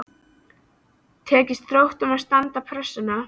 Tekst Þrótturum að standast pressuna??